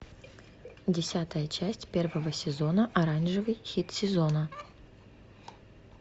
десятая часть первого сезона оранжевый хит сезона